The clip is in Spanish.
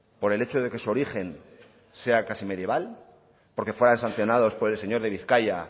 por el hecho de que su origen sea casi medieval porque fueran sancionados por el señor de bizkaia